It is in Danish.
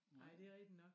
Nej det rigtig nok